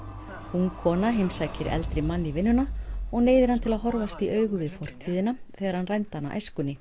ung kona heimsækir eldri mann í vinnuna og neyðir hann til að horfast í augu við fortíðina þegar hann rændi hana æskunni